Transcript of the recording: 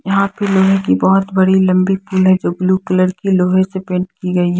यहां पे लोहे की बहुत बड़ी लंबी पुल है जो ब्लू कलर की लोहे की पेंट की गई है।